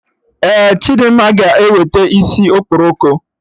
Ee, Chidimma ga eweta isi okporoko